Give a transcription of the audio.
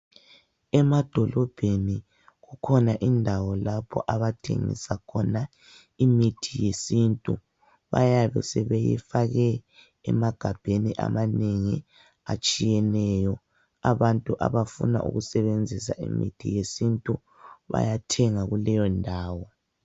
Emadolobheni kukhona indawo lapho abathengisa khona imithi yesintu. Bayabe sebeyifake emagabheni amanengi atshiyeneyo. Abantu abafuna ukusebenzisa imithi yesintu bayathenga kuleyondawo.